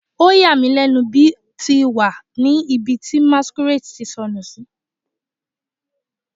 O ya mi bi o ti wa ni ibi ti masquerade ti sọnu si